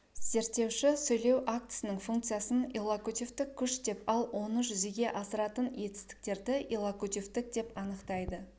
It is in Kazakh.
зерттеуші сөйлеу актісінің функциясын иллокутивтік күш деп ал оны жүзеге асыратын етістіктерді иллокутивтік деп анықтайды